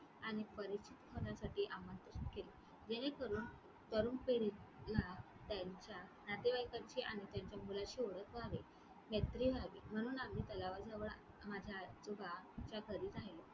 आणि परिचित होण्यासाठी आमंत्रित केले, जेणेकरून तरुण पिढीला त्यांच्या नातेवाईकांची आणि त्यांच्या मुलाची ओळख व्हावी, मैत्री व्हावी म्हणून आम्ही तलावाजवळ माझ्या आजोबाच्या घरी राहिलो.